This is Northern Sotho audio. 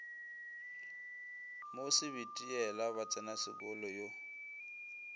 mo sebitiela ba tsenasekolo yo